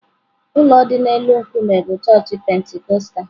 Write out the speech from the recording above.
Ụlọ dị n'elu nkume bụ chọọchị Pentikọstal.